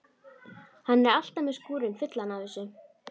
Hann er alltaf með skúrinn fullan af þessu.